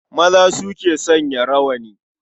Maza su ke sanya rawani.